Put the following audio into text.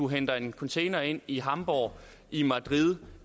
henter en container ind i hamburg i madrid